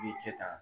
I bi kɛ tan